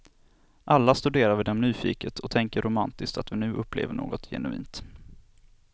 Alla studerar vi dem nyfiket och tänker romantiskt att vi nu upplever något genuint.